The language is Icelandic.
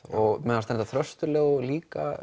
mér fannst Þröstur Leó líka